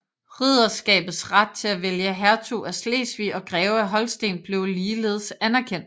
Ridderskabets ret til at vælge hertug af Slesvig og greve af Holsten blev ligeledes anerkendt